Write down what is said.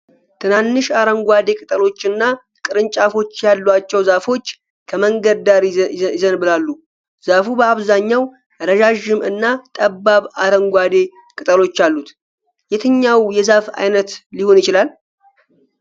ትናንሽ አረንጓዴ ቅጠሎችና ቅርንጫፎች ያሏቸው ዛፎች ከመንገድ ዳር ይዘንብባሉ። ዛፉ በአብዛኛው ረዣዥም እና ጠባብ አረንጓዴ ቅጠሎች አሉት። የትኛው የዛፍ ዓይነት ሊሆን ይችላል?